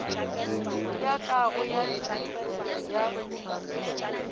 ya kago ya dintlo ya